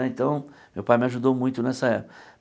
Né então, meu pai me ajudou muito nessa